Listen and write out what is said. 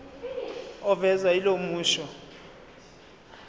ovezwa yilo musho